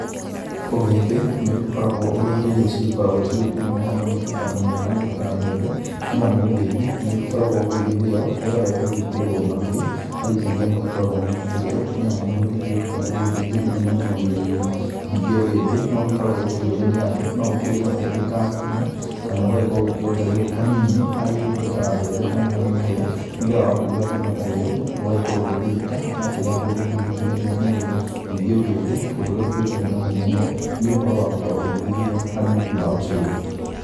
Ũgĩmbĩ nĩ ũgĩkoragwo ũrĩ indo irĩa c gĩkoragwo cigĩkĩrĩmwo hamwe na indo ta mũhĩa kana indo ta mbembe. Nĩ amu ũgĩmbĩ nĩ ũgĩkoragwo ũgĩgĩthĩo nĩgetha ũgagĩkĩrĩrwo indo ta mahĩũ, harĩ indo irĩa magĩgĩkoragwo magĩkĩrĩa nĩ amu ũgĩtũĩkaga nĩ ũrĩ ũteithio mũnene mũno mwĩrĩ-inĩ. Ningĩ ũgĩmbĩ noũgĩkoragwo ũkĩrĩo nĩ andũ. No ũkĩrĩagwo ũrĩ ta ngĩma, kana ũgagĩkorwo ũkĩongererwo kanini harĩ indo ta mbebe kana harĩ mũhĩa, nĩgetha wakĩrũga ngima ta ĩyo ũgagĩkorwo ũgĩteithĩka na kĩrĩa ũgĩmbĩ ũgĩteithagia mwĩrĩ. Ningĩ ũgĩmbĩ ũndũ ũrĩa ũkĩũkaine nagũo mũno nĩ ũhoro wa gũkorwo ũgĩgĩthĩo harĩ mũtu wa ũcurũ.